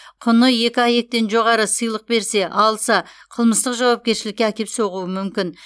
құны екі аек тен жоғары сыйлық берсе алса қылмыстық жауапкершілікке әкеп соғуы мүмкін